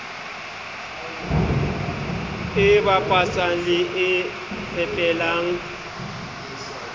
e bapatsang le e fepelang